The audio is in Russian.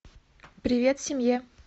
привет семье